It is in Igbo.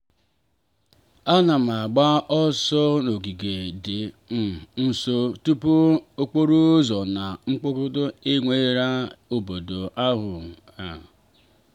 a na m agba ọsọ n'ogige dị um nso tupu okporo ụzọ na mkpọtụ eweghara obodo ahụ.